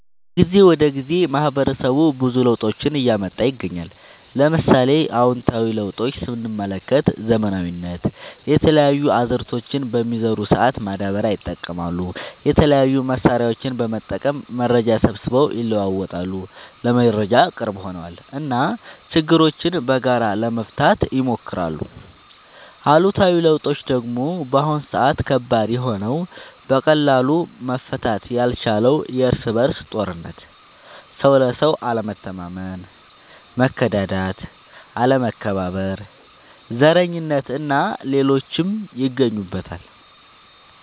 ከጊዜ ወደ ጊዜ ማህበረሰቡ ብዙ ለውጦችን እያመጣ ይገኛል። ለምሳሌ፦ አዎንታዊ ለውጦች ስንመለከት ዘመናዊነት፣ የተለያዩ አዝዕርቶችን በሚዘሩ ሰአት ማዳበሪያ ይጠቀማሉ፣ የተለያዩ መሳሪያዎችን በመጠቀም መረጃ ሰብስበው ይለዋወጣሉ (ለመረጃ ቅርብ ሆነዋል ) እና ችግሮችን በጋራ ለመፍታት ይሞክራሉ። አሉታዊ ለውጦች ደግሞ በአሁን ሰአት ከባድ የሆነው በቀላሉ መፈታት ያልቻለው የርስ በርስ ጦርነት፣ ሰው ለሰው አለመተማመን፣ መከዳዳት፣ አለመከባበር፣ ዘረኝነት እና ሌሎችም ይገኙበታል።